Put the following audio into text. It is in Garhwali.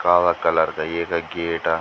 काला कलर का येका गेट ।